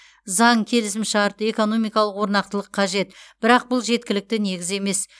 заң келісімшарт экономикалық орнықтылық қажет бірақ бұл жеткілікті негіз емес